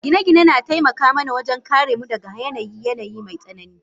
Gine-gine na taimaka mana wajen kare mu daga yanayin yanayi mai tsanani.